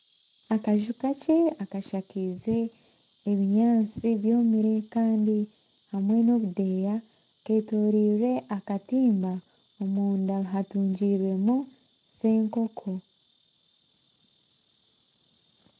Akaju kakye akashakize ebinyaasti byomire kandi hamwe n'obudeeyi, keetoreirwe akatiimba omunda hatungirwemu serukoko.